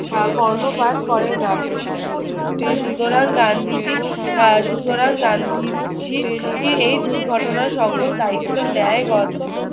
আহ কর্ণপাত করে না। সুতরাং গান্ধীজি আহ সুতরাং গান্ধীজি এই দুর্ঘটনার সকল দায়িত্ব নেয় গত